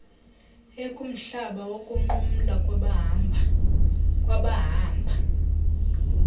ekumhlaba wokunqumla kwabahamba